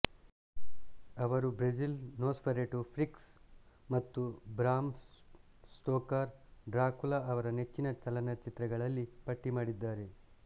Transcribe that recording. ಅವರು Brazil Nosferatu Freaks ಮತ್ತು Bram ಸ್ಟೋಕರ್ರ ಡ್ರಾಕುಲಾ ಅವರ ನೆಚ್ಚಿನ ಚಲನಚಿತ್ರಗಳಲ್ಲಿ ಪಟ್ಟಿ ಮಾಡಿದ್ದಾರೆ